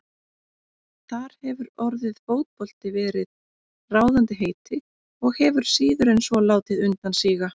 Þar hefur orðið fótbolti verið ráðandi heiti og hefur síður en svo látið undan síga.